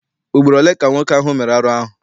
Ugboro ole ka nwoke ahụ mere arụ ahụ?